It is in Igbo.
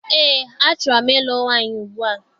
Eé, achọrọ m ịlụ nwaanyị ugbua.